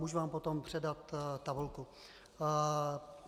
Můžu vám potom předat tabulku.